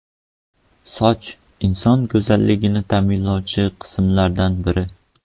Soch inson go‘zalligini ta’minlovchi qismlardan biri.